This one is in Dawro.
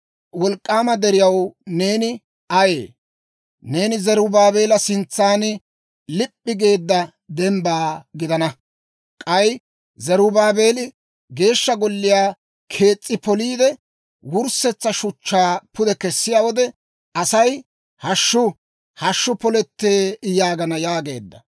Wolk'k'aama deriyaw, neeni ayee? Neeni Zarubaabeela sintsan lip'i geedda dembba gidana. K'ay Zarubaabeeli Geeshsha Golliyaa kees's'i poliide, wurssetsa shuchchaa pude kessiyaa wode asay, «Hashshu! Hashshu polettee!» yaagana› yaageedda.»